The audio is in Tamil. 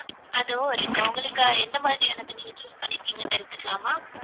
அதுவும் இருக்கு உங்களுக்கு எந்த மாதிரியானது நீங்க choose பண்ணிர்கீங்கனு தெரிஞ்சிக்கலாமா?